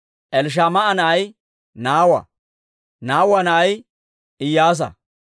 Elishamaa'a na'ay Nawa; Neewe na'ay Iyyaasa.